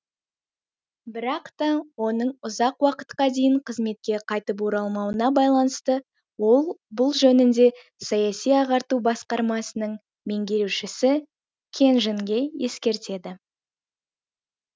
бірақ та оның ұзақ уақытқа дейін қызметке қайтып оралмауына байланысты ол бұл жөнінде саяси ағарту басқармасының меңгерушісі кенжинге ескертеді